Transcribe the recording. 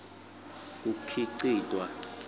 kukhicitwa